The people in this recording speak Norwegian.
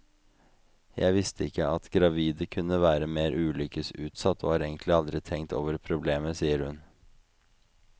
Jeg visste ikke at gravide kunne være mer ulykkesutsatt, og har egentlig aldri tenkt over problemet, sier hun.